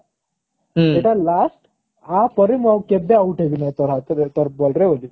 ଏଟା last ଆ ପରେ ମୁଁ ଆଉ କେବେ out ହେବିନି ବୋଲି